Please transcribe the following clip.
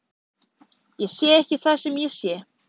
Ég sé ekki það sem ég sé.